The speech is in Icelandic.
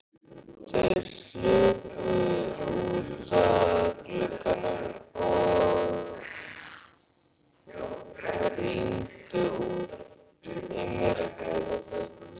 Þau hlupu út að glugganum og rýndu út í myrkrið.